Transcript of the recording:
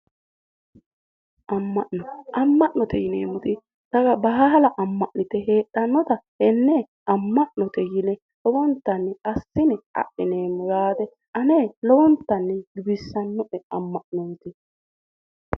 Ama'no, ama'note yinneemmoti daga baalla ama'nite heedhanotta tene ama'note yinne lowontanni adhineemmo, ane lowontanni giwisanoe ama'noti.